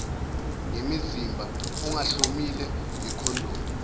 ngemizimba ungahlomile ngekhondomu